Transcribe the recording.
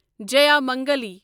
جیامنگلی